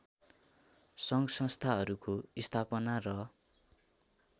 सङ्घसंस्थाहरूको स्थापना र